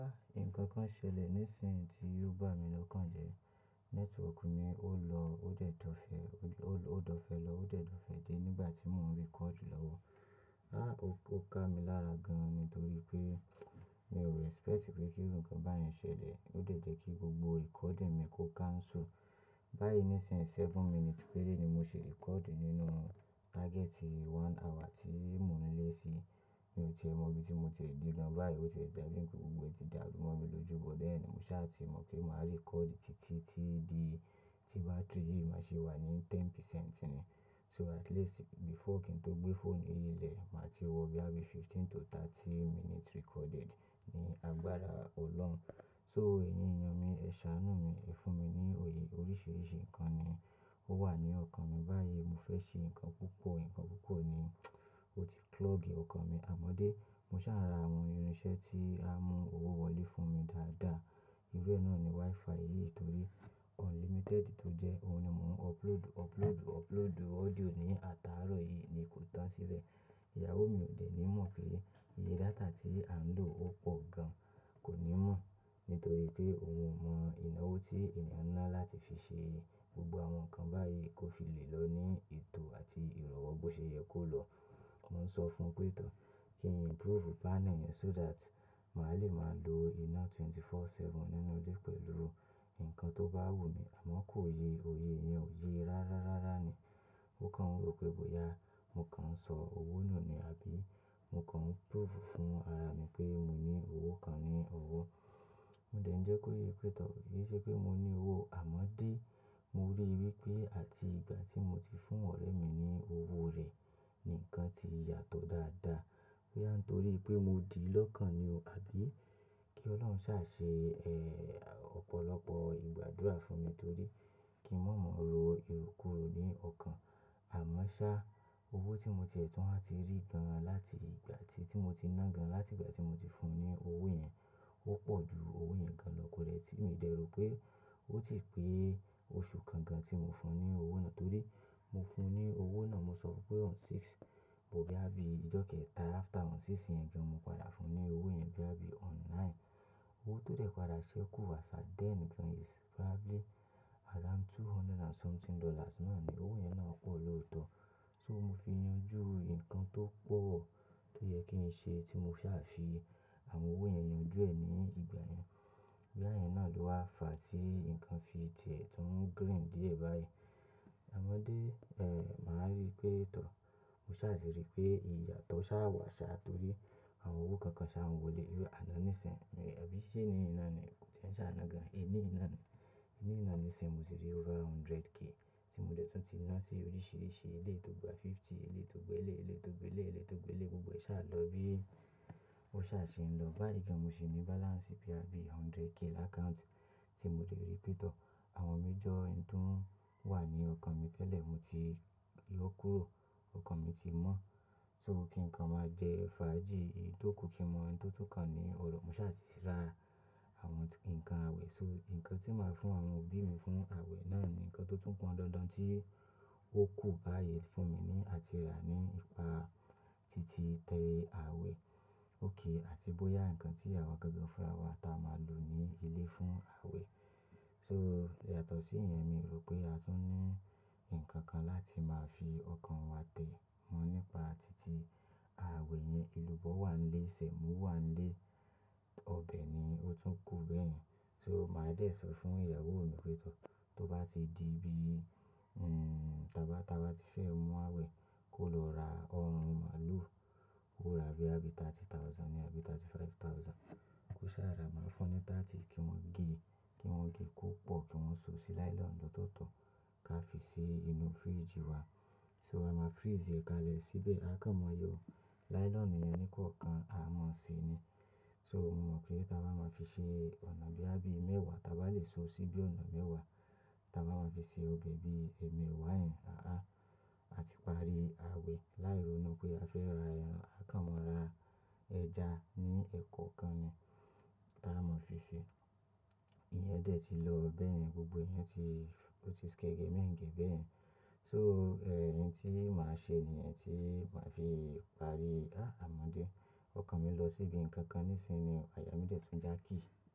Nǹkan kan ṣẹlẹ̀ nísinyìí tí ò bá mi lọ́kàn jẹ. Network mi ó lọ, ó dẹ̀ dọ fẹ́, ó lọ, ó dọ̀ fẹ́ lọ, ó dẹ̀ do fe dé nígbà tí mò ń record lọ́wọ́. Áà ó ká mi lára gan-an nítorí pé mi ò expect pé kí iru nkan báyen ṣẹlẹ̀. Ó dẹ̀ jẹ́ kí gbogbo recording mi kó cancel. Báyìí nísinyìí seven minutes péré ni mo ṣi record nínú target one hour tí mò ń lé sí. Mi ò tie mọ̀ bí tí mo ti e de gan báyìí ó tie dabi npe gbogbo ẹ̀ ti dàrú mọ́ mi lójú, but then mo sá ti mọ̀ pé màá record títí tí di, tí battery yìí má ṣe wà ní ìdá mẹ́wàá nínú ọgọ́rùn-ún ni. So at least before kí n tó gbé phone yìí lẹ̀, màá ti wọ bí àbí fifteen to thirty minutes recorded ní agbára Ọlọ́run. So èyín eyàn mi, ẹ ṣàánú mi, ẹ fún mi ní òye. Oríṣiríṣi nǹkan ni ó wà ní ọkàn mi báyìí. Mo fẹ́ ṣe nǹkan púpọ̀, nǹkan púpọ̀ ni ó ti clog ọkàn mi. Àmọ́dé, mo ṣà ra àwọn irinṣẹ́ tí á mú owó wọlé fún mi dáadáa. Irú ẹ náà ni Wi-Fi yìí torí unlimited tó jẹ́ òun ni mò ń upload, upload, upload audio ní ataárọ̀ yìí ni kò tán síbẹ̀. Ìyàwó mi ò dẹ̀ ní mọ̀ pé iye data tí à ń lò ó pọ̀ gan, kò ní mọ̀ nítorí pé òun o mọ ináwó tí ènìyàn náà láti fi ṣe gbogbo àwọn nǹkan báyìí kó fi le lọ ní ètò àti ìrọ̀wọ́ bó ṣe yẹ kó lọ. Mo ń sọ fún un pé tọ̀ kí n improve panel yẹn so that màá le máa lo iná wákàtí mẹ́rìnlélógún, ọjọ́ méje nínú ilé pẹ̀lú nǹkan tó bá wù mí. Àmọ́ kò ye, òye yen ò ye rárá, rárá ni. Ó kan wo pé, "bóyá mo kan ń sọ owó nù ni, àbí mo kan ń prove fún ara mi pé mò ní owó kan ni owó?" Mo dẹ̀ ń jẹ́ kó yé pé tọ̀, kò yé ṣe pé mo ní owó. Àmọ́dé, mo rí i wípé àti ìgbà tí mo ti fún ọ̀rẹ́ mi ní owó rẹ̀ ni nǹkan ti yàtọ̀ dáadáa. Pé nitórí pé mo di lọ́kàn ni ó, àbí kí Ọlọ́run ṣà ṣe, eh, ọ̀pọ̀lọpọ̀ ìgbádúrà fún mi torí kí mò mọ̀ ro ìrókuro ní ọkàn. Àmọ́ ṣá owó tí mo ti ẹ̀tún à ti rí gan-an láti ìgbà tí, tí mo ti ná gan-an láti ìgbà tí mo ti fún un ní owó yẹn, ó pọ̀ ju owó yẹn gan-an lọ. Kò lè tí mi dẹ̀ ro pé ó ti pé oṣù kan gan tí mo fún un ní owó náà torí mo fún un ní owó náà, mo sọ pé on sixth, bó bí àbí ìjọ́ kẹta after on sixth yẹn kí mo padà fún un ní owó yẹn bí àbí on ninth. Owó tó dẹ̀ padà ṣẹ́kù as at then gan-an is probably around two hundred and something dollars náà ni. Owó yẹn náà pọ̀ lọ́ọ̀tọ̀. So mo fi yanjú nǹkan tó pọ̀ tó yẹ kí n ṣe tí mo ṣà fi àwọn owó yẹn yanjú ẹ̀ ní ìgbà yẹn. B' oya iyèn náà ló wá fà á tí nǹkan fi tiẹ̀ tún green díẹ̀ báyìí. Àmọ́dé, eh, màá rí i pé tọ̀. Mo ṣà ṣe rí i pé ìyàtọ̀ ṣà wà ṣá torí àwọn owó kan kan ṣà ń wọlé. Irú àná níìsín, ẹ̀, àbí iṣẹ́ nínú iná ni kò ṣe ń ṣà áná gan-an. E, ní iná ni. Nínú iná níìsín mo sì rí over ẹgbẹ̀rún ọgọ́rùn-ún tí mo dẹ̀ tún ti ná sí oríṣìíríṣìí eléto gbà 50, eléto gbà elé, eléto gbà elé, eléto gbà elé gbogbo e ṣà lọ bí ó ṣà ṣe ń lọ. Báyìí gan-an mo sì ní balance bí àbí ẹgbẹ̀rún ọgọ́rùn-ún l'account tí mo lè rí i pé tọ̀. Àwọn major nǹkan tó wà ní ọkàn mi tẹ́lẹ̀ mo ti yó kúrò, ọkàn mi ti mọ́. So kí nǹkan máa jẹ fàájì, oun tó kù kí mo mọ ẹni tó tó kàn ni Ọro. Mo ṣà ti ra àwọn nǹkan àwẹ̀, so nǹkan tí màá fún àwọn òbí mi fún àwẹ̀ náà ni nǹkan tó tún pọ́n dandan tí ó kù báyìí fún mi ní àti rà nípa títí tẹ àwẹ̀ óké àti bóyá nǹkan tí awa gan gan fúnra wa táa máa lò ní ilé fún àwẹ̀. So yàtọ̀ sí ìyẹn mi rò pé a tún ní nǹkan kan láti máa fi ọkàn wa tẹ mọ́ nípa títí àwẹ̀ yẹn. Elúbọ́ wà n ílé, Ṣẹ̀mo wà n ílé, ọbẹ̀ ni ó tún kù bẹ́ẹ̀ yen. So màá dẹ̀ sọ fún ìyàwó mi pé tọ̀, tó bá ti di bí, nn, tàbí táa bá ti fẹ́ mú àwẹ̀ kó lọ ra ọ̀rún màálù. Ó ra bí àbí ẹgbẹ̀rún ọgbọ̀n ni, àbí ẹgbẹ̀rún márùnlélọ́gbọ̀n. Ó ṣà ra, màá fún un ní ọgbọ̀n kí wọ́n gé, kí wọ́n gé kó pọ̀ kí wọ́n so sí nylon lọ́tọ̀ọ̀tọ̀ ká fi sí inú fridge wa. So a máa freeze ẹ̀ kalẹ̀ síbẹ̀. A kàn maa yóò, nylon yẹn ní kan kan a máa ṣe ni. So mo mọ̀ pé táa bá máa fi ṣe ọ̀nà bí àbí mẹ́wàá, táa bá lè so sí bí ọ̀nà mẹ́wàá, táa bá máa fi ṣe ọbẹ̀ bí èèmewá yẹn, àá àti parí àwẹ̀. Lairò nu pé a fẹ́ ra ẹran, akànmọ́ ra ẹja ní ẹ̀kọ́ kan ni táa máa fi ṣe. Ìyẹn dẹ̀ ti lọ bẹ́ẹ̀ yen gbogbo. Ìyẹn ti, ó ti skege méńgẹ̀ẹ́ bẹ́ẹ̀ yen. So, eh, ẹ̀yin tí màá ṣe ni ẹ̀yin tí màá fi parí, ah, àmọ́dé ọkàn mi lọ síbi nǹkan kan níìsín ni àyà mí dẹ̀ tún já kì í.